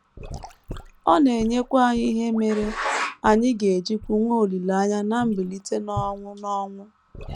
Ọ na - enyekwa anyị ihe mere anyị ga - ejikwu nwee olileanya ná mbilite n’ọnwụ n’ọnwụ.